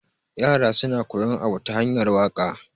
yara suna koyan Abu ta hanyar waka